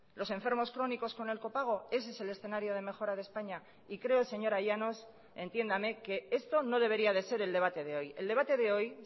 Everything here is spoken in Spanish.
los enfermos crónicos con el copago ese es el escenario de mejora de españa y creo señora llanos entiéndame que esto no debería de ser el debate de hoy el debate de hoy